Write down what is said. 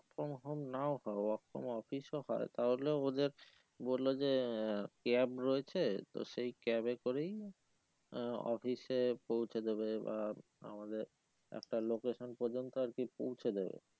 from home নাও পাও work from office ও হয়ে তাহলেও ওদের বললো যে cab রয়েছে তো সেই cab এ করেই আহ office এ পৌঁছে দেবে বা আমাদের একটা location পর্যন্ত আর কি পৌঁছে দেবে